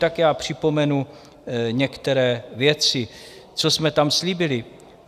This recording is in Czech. Tak já připomenu některé věci, co jsme tam slíbili.